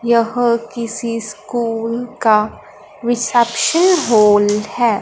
यह किसी स्कूल का रिसेप्शन हॉल है।